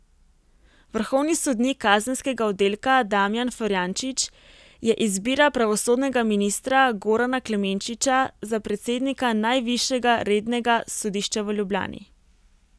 Vrhovni sodnik kazenskega oddelka Damijan Florjančič je izbira pravosodnega ministra Gorana Klemenčiča za predsednika najvišjega rednega sodišča v Ljubljani.